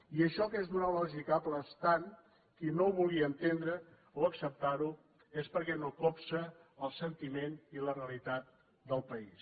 i això que és d’una lògica aclaparadora qui no ho vulgui entendre o acceptar ho és perquè no copsa el sentiment i la realitat del país